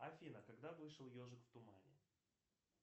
афина когда вышел ежик в тумане